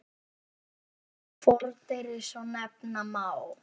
Fordyri svo nefna má.